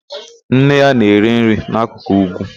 Nne ya na-ere nri n'akụkụ úgwú.